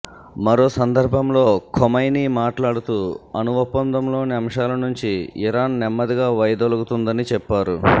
మరో సందర్భంలో ఖొమైనీ మాట్లాడుతూ అణుఒప్పందంలోని అంశాల నుంచి ఇరాన్ నెమ్మదిగా వైదొలగుతుందని చెప్పారు